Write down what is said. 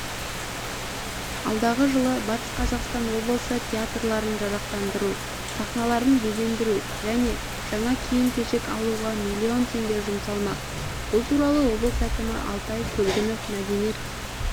алдағы жылы батыс қазақстан облысы театрларын жарақтандыру сахналарын безендіру және жаңа киім-кешек алуға миллион теңге жұмсалмақ бұл туралыоблыс әкімі алтай көлгінов мәдениет